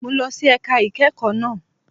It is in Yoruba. Mo lọ sí ẹ̀ka ìkẹ́kọ̀ọ́ náà.